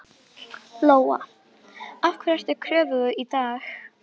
Lóa: Af hverju ert þú í kröfugöngu í dag?